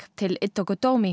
til